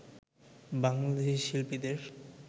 বাংলাদেশি শিল্পীদের